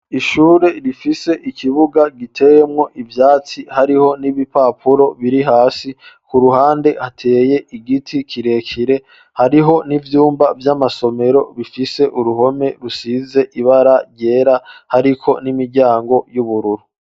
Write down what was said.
Ishure rifise ikibuga giteyemwo ivyatsi, hariho n'ibipapuro biri hasi, ku ruhande hateye igiti kirekire hariho n'ivyumba vy'amasomero bifise uruhome rusize ibara ryera ariko n'imiryango y'ubururu.